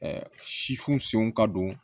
sifu senw ka don